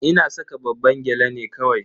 Ina saka babban gyale ne kawai.